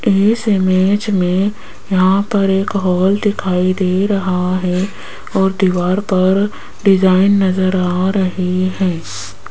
इस इमेज में यहां पर एक हॉल दिखाई दे रहा है और दीवार पर डिजाइन नजर आ रही है।